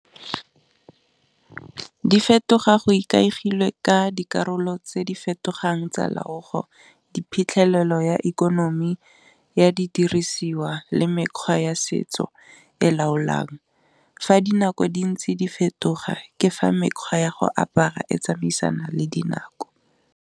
Di fetoga go ikaegile ka dikarolo tse di fetogang tsa loago diphitlhelelo ya ikonomi ya di dirisiwa le mekgwa ya setso e laolang, fa dinako di ntse di fetoga ke fa mekgwa ya go apara e tsamaisana le dinako.